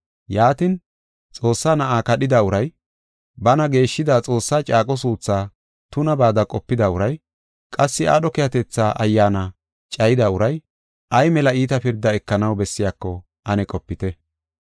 Yaatin, Xoossaa Na7aa kadhida uray, bana geeshshida Xoossaa caaqo suuthaa tunabaada qopida uray, qassi aadho keehatetha Ayyaana cayida uray, ay mela iita pirdaa ekanaw bessiyako ane qopite.